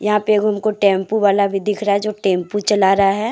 यहां पे एक हमको टेम्पू वाला भी दिख रहा है जो टेम्पू चला रहा है ।